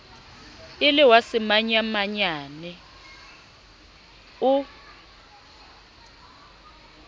e le wa semanyamanyane o